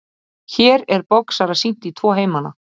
hér er boxara sýnt í tvo heimana